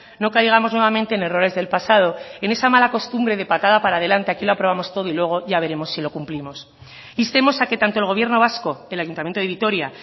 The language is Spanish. no caigamos nuevamente en errores del pasado en esa mala costumbre de patada para adelante aquí lo aprobamos todo y luego ya veremos si lo cumplimos instemos a que tanto el gobierno vasco el ayuntamiento de vitoria